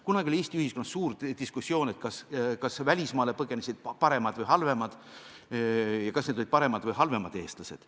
Kunagi oli Eesti ühiskonnas suur diskussioon selle üle, kas välismaale põgenesid paremad või halvemad eestlased.